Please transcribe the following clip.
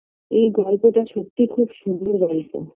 এই গল্পটা সত্যিই খুব সুন্দর গল্প